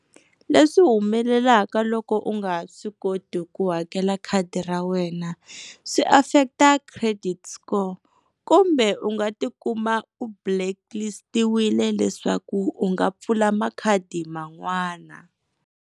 Leswi humelelaka loko u nga swi koti ku hakela khadi ra wena swi affect-a credit score kumbe u nga tikuma u blacklist-tiwile leswaku u nga pfula makhadi man'wana.